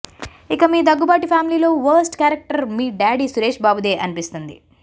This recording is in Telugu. ఇక మీ దగ్గుబాటి ఫ్యామిలీలో వరస్ట్ క్యారెక్టర్ మీ డాడీ సురేష్ బాబుదే అనిపిస్తుంది